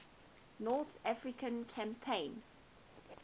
north african campaign